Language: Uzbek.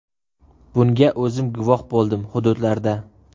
Bunga o‘zim guvoh bo‘ldim hududlarda.